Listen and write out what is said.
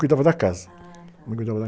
Cuidava da casa.h...